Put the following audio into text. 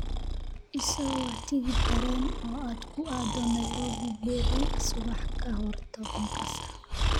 I soo wac tigidh tareen oo aad ku aado Nairobi berri subax ka hor tobanka saac